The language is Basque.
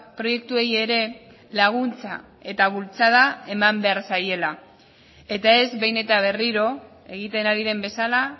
proiektuei ere laguntza eta bultzada eman behar zaiela eta ez behin eta berriro egiten ari den bezala